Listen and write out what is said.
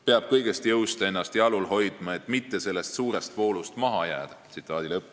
Peab kõigest jõust ennast jalul hoidma, et mitte sellest suurest voolust maha jääda.